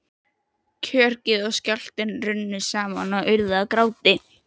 Kjökrið og skjálftinn runnu saman og urðu að gráti.